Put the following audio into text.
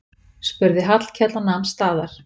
spurði Hallkell og nam staðar.